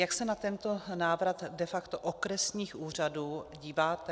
Jak se na tento návrat de facto okresních úřadů díváte?